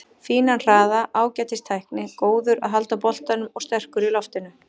Fínan hraða, ágætis tækni, góður að halda boltanum og sterkur í loftinu.